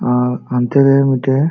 ᱟᱨ ᱦᱚᱱᱛᱮ ᱨᱮ ᱢᱤᱴᱮᱡ --